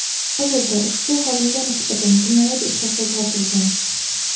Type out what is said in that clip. Hozirda ushbu xodimga nisbatan jinoyat ishi qo‘zg‘atilgan.